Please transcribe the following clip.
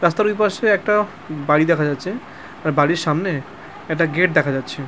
রাস্তার ওইপাশে একটা বাড়ি দেখা যাচ্ছে আর বাড়ির সামনে একটা গেট দেখা যাচ্ছে ।